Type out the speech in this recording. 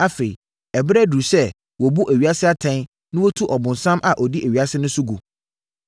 Afei, ɛberɛ aduru sɛ wɔbu ewiase atɛn na wɔtu ɔbonsam a ɔdi ewiase so no gu.